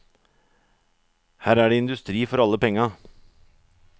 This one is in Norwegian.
Her er det industri for alle penga.